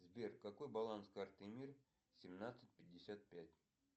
сбер какой баланс карты мир семнадцать пятьдесят пять